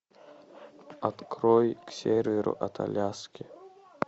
открой к северу от аляски